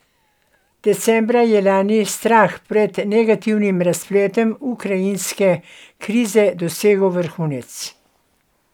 Decembra lani je strah pred negativnim razpletom ukrajinske krize dosegel vrhunec.